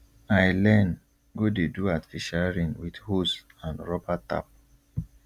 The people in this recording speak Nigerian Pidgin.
i learn go dey do artificial rain with hose and rubber tap